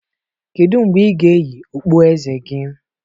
Kedu mgbe ị ga-eyi okpueze gị?